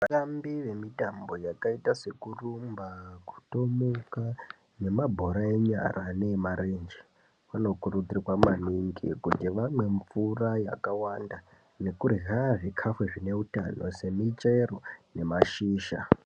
Vatambi vemitambo yakaita sekurumba kutomuka nemabhora enyara neyemarenje kunokurudzirwa maningi kuti vamwe mvura yakawanda nekurya zvikafu zvine utano semichero nemashizha.